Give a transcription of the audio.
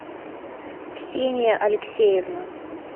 ксения алексеевна